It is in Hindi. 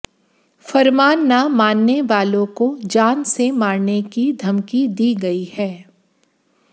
फरमान न मानने वालों को जान से मारने की धमकी दी गई है